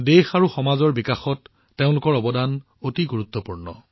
দেশ আৰু সমাজৰ বিকাশত তেওঁলোকৰ অৱদান অতি গুৰুত্বপূৰ্ণ